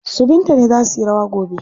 Su Binta ne za suyi rawa gobe.